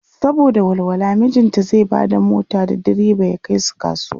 saboda walwala mijinta zai Bada mota da diriba ya Kai su kasuwa.